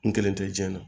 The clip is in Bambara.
N kelen to jɛnɛ na